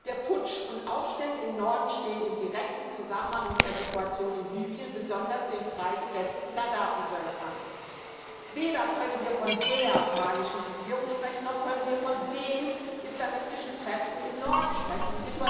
Der Putsch und die Aufstände im Norden stehen in direktem Zusammenhang mit der Situation in Libyen, besonders den freigesetzten Gaddafi Söldnern. Wir können weder von der malischen Regierung sprechen, noch können wir von den islamistischen Kräften im Norden sprechen.